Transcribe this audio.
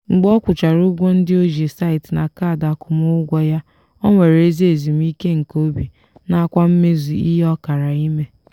mgbe ọ kwụchara ụgwọ ndị o ji site na kaadị akwụmụụgwọ ya o nwere ezi ezumike nke obi nakwa mmezu ihe ọ kara ime.